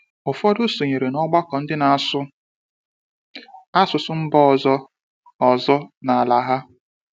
Ụfọdụ sonyere n’ọgbakọ ndị na-asụ asụsụ mba ọzọ ọzọ n’ala ha.